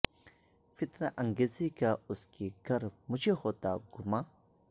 فتنہ انگیزی کا اس کی گر مجھے ہوتا گماں